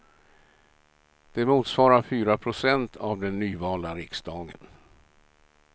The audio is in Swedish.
Det motsvarar fyra procent av den nyvalda riksdagen.